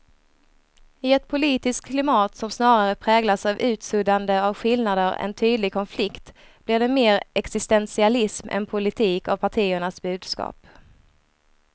I ett politiskt klimat som snarare präglas av utsuddande av skillnader än tydlig konflikt blir det mer existentialism än politik av partiernas budskap.